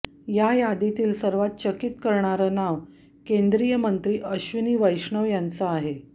या यादीतील सर्वात चकीत करणारं नाव केंद्रीय मंत्री अश्विनी वैष्णव यांचं आहे